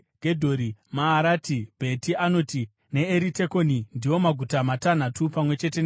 Maarati, Bheti Anoti, neEritekoni ndiwo maguta matanhatu pamwe chete nemisha yawo.